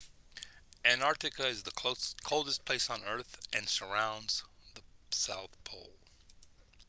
antarctica is the coldest place on earth and surrounds the south pole